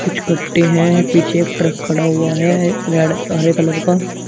कुछ कट्टे हैं पीछे एक ट्रक खड़ा हुआ है रेड हरे कलर का।